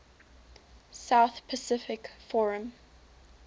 south pacific forum